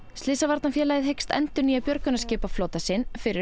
slysavarnarfélagið hyggst endurnýja björgunarskipaflota sinn fyrir